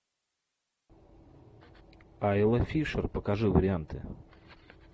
айла фишер покажи варианты